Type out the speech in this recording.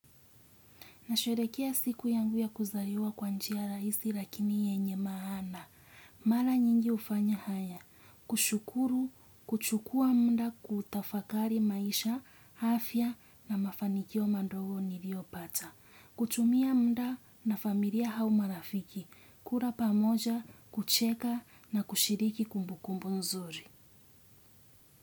Nasherehekea siku yangu ya kuzaliwa kwa njia rahisi lakini yenye maana. Mara nyingi hufanya haya, kushukuru, kuchukua mnua kutafakari maisha, afya na mafanikio mandogo niliopata. Kutumia muda na familia hau marafiki, kula pamoja, kucheka na kushiriki kumbukumbu nzuri.